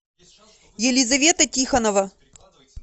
елизавета тихонова